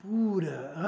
Pura.